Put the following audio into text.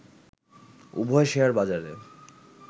উভয় শেয়ারবাজারে